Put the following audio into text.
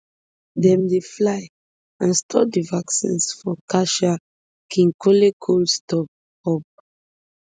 dem dey fly and store di vaccines for kinshasa kinkole cold storage hub